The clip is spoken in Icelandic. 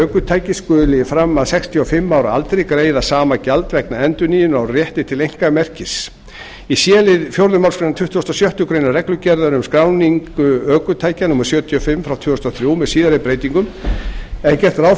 ökutækis skuli fram að sextíu og fimm ára aldri greiða sama gjald vegna endurnýjunar á rétti til einkamerkis í c lið fjórðu málsgrein tuttugustu og sjöttu grein reglugerðar um skráningu ökutækja númer sjötíu og fimm tvö þúsund og þrjú með síðari breytingum er gert ráð